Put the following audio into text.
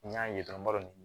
N y'a ye dɔrɔn